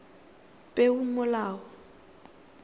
peomolao